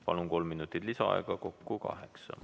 Palun, saate kolm minutit lisaaega, kokku kaheksa.